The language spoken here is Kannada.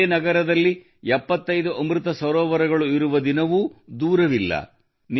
ನಿಮ್ಮದೇ ನಗರದಲ್ಲಿ 75 ಅಮೃತ ಸರೋವರಗಳು ಇರುವ ದಿನವು ದೂರವಿಲ್ಲ